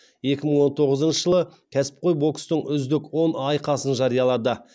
екі мың он тоғызыншы жылы кәсіпқой бокстың үздік он айқасын жариялады